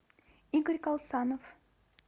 игорь калсанов